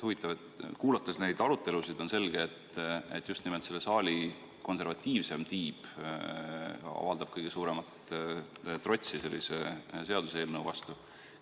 Huvitav, kuulates neid arutelusid, on selge, et just nimelt selle saali konservatiivsem tiib avaldab kõige suuremat trotsi sellise seaduseelnõu vastu.